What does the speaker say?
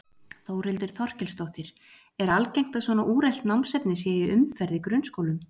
Þórhildur Þorkelsdóttir: Er algengt að svona úrelt námsefni sé í umferð í grunnskólum?